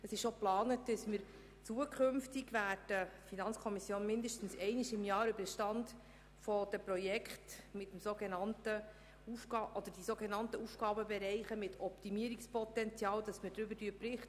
Es ist geplant, die FiKo mindestens einmal pro Jahr über den Stand der Projekte beziehungsweise über die sogenannten «Aufgabenbereiche mit Optimierungspotenzial» zu informieren.